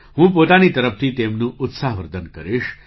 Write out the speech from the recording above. હું પોતાની તરફથી તેમનું ઉત્સાહવર્ધન કરીશ